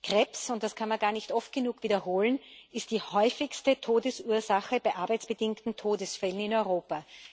Krebs das kann man gar nicht oft genug wiederholen ist die häufigste Todesursache bei arbeitsbedingten Todesfällen in Europa.